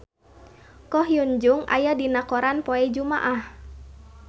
Ko Hyun Jung aya dina koran poe Jumaah